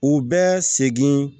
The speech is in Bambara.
U bɛ segin